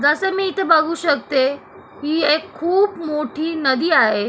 जस मी इथ बघू शकते की एक खूप मोठी नदी आहे.